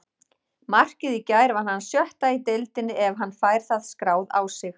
Markið í gær var hans sjötta í deildinni ef hann fær það skráð á sig.